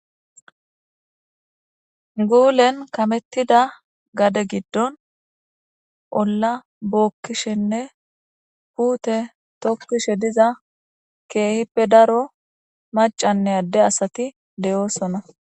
Guulen kamettida gade giddon olla bookkishenne puute tokkishe diza keehippe daro macanne adde asati de7oosona.